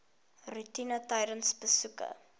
roetine tydens besoeke